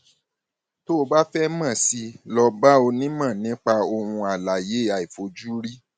tó o bá fẹ mọ sí i lọ bá onímọ nípa ohun alààyè àìfojúrí